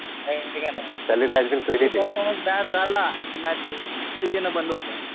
है का नाही. परफॉर्मन्स बॅड झाला कि मॅसेज येणं बंद होतं.